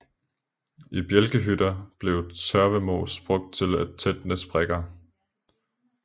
I bjælkehytter blev tørvemos brugt til at tætne sprækker